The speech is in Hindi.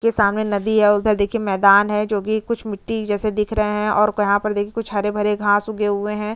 इसके सामने नदी है और देखिये इसके सामने मैदान है जो कि कुछ मिट्टी जैसे दिख रहे है यहाँ पर कुछ हरे-भरे घास उगे हुए है।